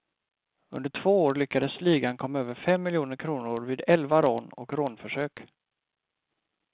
Under två år lyckades ligan komma över fem miljoner kronor vid elva rån och rånförsök.